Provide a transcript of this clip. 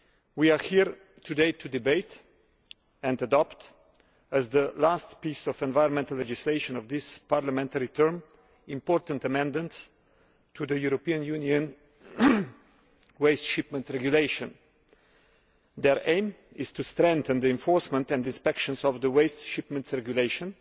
We are here today to debate and adopt, as the last piece of environmental legislation of this parliamentary term, important amendments to the European Union regulation on shipments of waste. They aim to strengthen the enforcement and inspections of the Waste Shipments Regulation